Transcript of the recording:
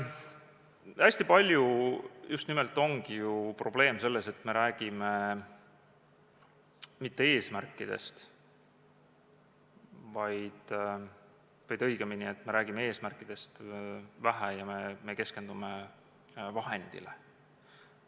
" Hästi palju just nimelt ongi ju probleem selles, et me räägime eesmärkidest vähe ja keskendume vahendile.